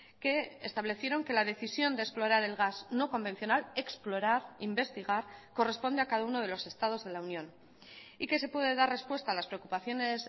que establecieron que la decisión de explorar el gas no convencional explorar investigar corresponde a cada uno de los estados de la unión y que se puede dar respuesta a las preocupaciones